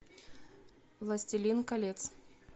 властелин колец